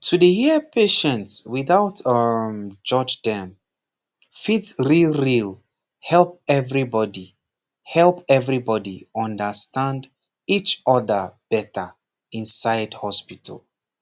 to dey hear patient without um judge dem fit real real help everybody help everybody understand each other better inside hospital